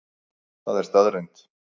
Það er staðreynd